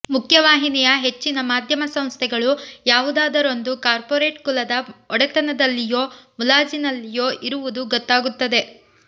ಮುಖ್ಯವಾಹಿನಿಯ ಹೆಚ್ಚಿನ ಮಾಧ್ಯಮ ಸಂಸ್ಥೆಗಳು ಯಾವುದಾದರೊಂದು ಕಾರ್ಪೋರೇಟ್ ಕುಲದ ಒಡೆತನದಲ್ಲಿಯೋ ಮುಲಾಜಿನಲ್ಲಿಯೋ ಇರುವುದು ಗೊತ್ತಾಗುತ್ತದೆ